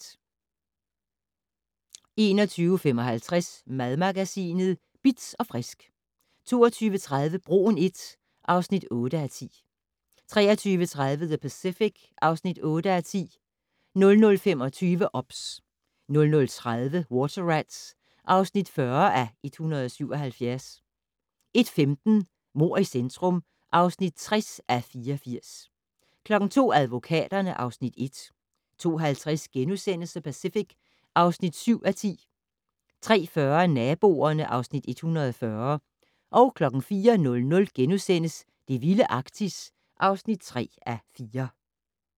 21:55: Madmagasinet Bitz & Frisk 22:30: Broen I (8:10) 23:30: The Pacific (8:10) 00:25: OBS 00:30: Water Rats (40:177) 01:15: Mord i centrum (60:84) 02:00: Advokaterne (Afs. 1) 02:50: The Pacific (7:10)* 03:40: Naboerne (Afs. 140) 04:00: Det vilde Arktis (3:4)*